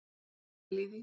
Er ekki að pæla í því,